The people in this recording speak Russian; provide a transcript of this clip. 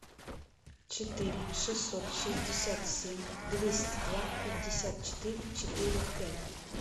четыре шестьсот шестьдесят семь двести два пятьдесят четыре четыре пять